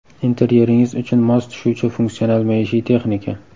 Interyeringiz uchun mos tushuvchi funksional maishiy texnika.